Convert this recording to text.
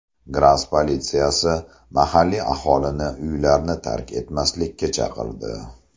Gras politsiyasi mahalliy aholini uylarni tark etmaslikka chaqirdi.